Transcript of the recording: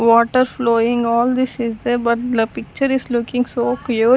water flowing all this is there but the picture is looking so cleared.